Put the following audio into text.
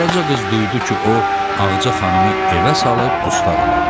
Qaraca qız duydu ki, o Ağaca xanımı evə salıb dustaqlıq elədi.